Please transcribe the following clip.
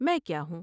میں کیا ہوں ۔